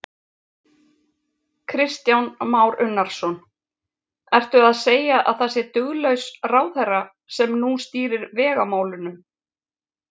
Kristján Már Unnarsson: Ertu að segja að það sé duglaus ráðherra sem nú stýrir vegamálunum?